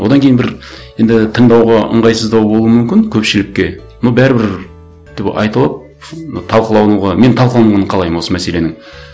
одан кейін бір енді тыңдауға ыңғайсыздау болуы мүмкін көпшілікке но бәрібір айтылып талқылануға мен талқылануын қалаймын осы мәселенің